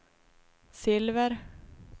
silver